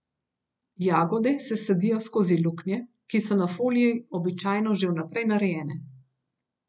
Jagode se sadijo skozi luknje, ki so na foliji običajno že vnaprej narejene.